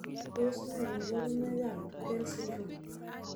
Tos ne kaborunoikab tukel syndrome?